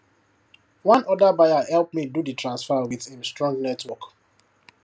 one other buyer help me do the transfer with him strong network